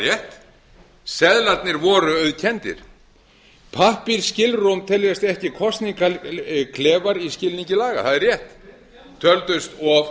er alveg rétt seðlarnir voru auðkenndir pappírsskilrúm teljast ekki kosningaklefar í skilningi laga það er rétt töldust of